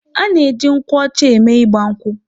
A na-eji nkwụ ọcha eme ịgba nkwụ.